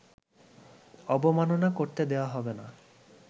অবমাননা করতে দেয়া হবে না